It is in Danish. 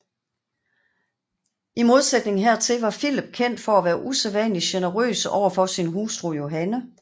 I modsætning hertil var Filip kendt for at være usædvanlig generøs over for sin hustru Johanne